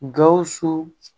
Gawusu